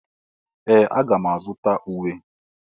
Ee! Aga m azụta uwe.